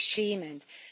Es ist beschämend.